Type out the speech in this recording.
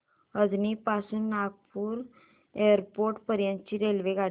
अजनी पासून नागपूर एअरपोर्ट पर्यंत रेल्वेगाडी